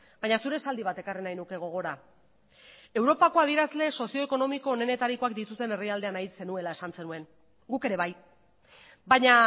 baina zure esaldi bat ekarri nahi nuke gogora europako adierazle sozio ekonomiko onenetarikoak dituzten herrialdea nahi zenuela esan zenuen guk ere bai baina